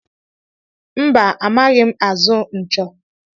Mba, amaghị azụ nchọ.